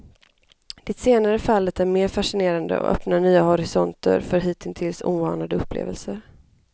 Det senare fallet är mer fascinerande och öppnar nya horisonter för hitintills oanade upplevelser.